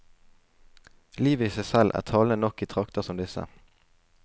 Livet i seg selv er talende nok i trakter som disse.